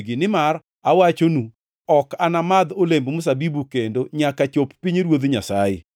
Nimar awachonu, ok anamadh olemb mzabibu kendo nyaka chop pinyruoth Nyasaye.”